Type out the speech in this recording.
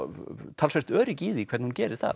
talsvert öryggi í því hvernig hún gerir það